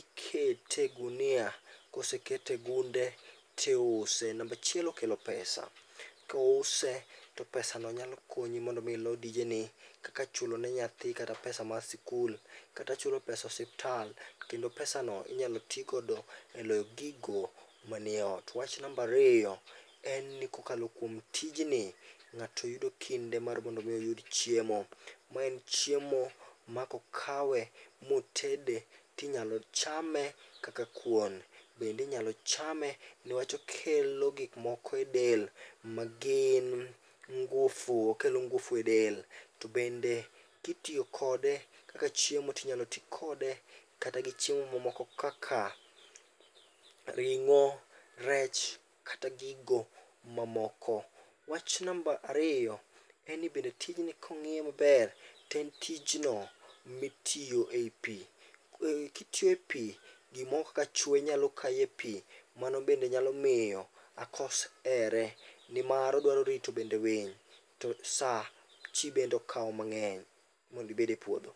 ikete e gunia. Kosekete e gunde to iuse, namba achiel okelo pesa. Kouse to pesano nyalo konyi mondo mi ilo dijeni kaka chulo ne nyathi kata pesa mar sikul, kendo pesano inyalo chul kata e osiptal kendo pesano inyalo tigo eloyo gigo man e ot. Namba ariyo, en ni kokalo kuom tijni, ng'ato yudo kinde mar mondo mi oyud chiemo. Ma en chiemo ma kokawe motede to inyalo chame kaka kuon. Bende inyalo chame. nikech okelo gik moko e del magin ngufu, okelo ngufu edel. To bende kitiyo kode kaka chiemo to inyalo ti kode kata gi chiemo mamoko kaka ring'o, rech kata gigo mamoko. Wach namba ariyo, en ni bende tijni ka ong'iye maber to en tijno mitiyo ei pi. Kitiyo e pi, gimoro kaka chwe nyalo kayi ei pi. Mano bende nyalo miyo akos here nimar odwaro bende rito winy to saa bende okawo mang'eny mondo ibed e puodho.